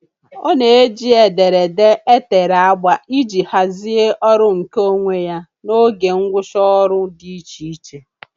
Ọ na-eji ederede e tere agba iji hazie ọrụ nkeonwe ya na oge ngwụcha ọrụ dị icheiche.